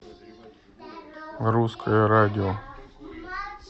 русское радио